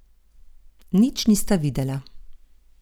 Nič nista videla.